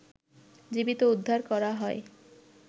জীবিত উদ্ধার করা হয়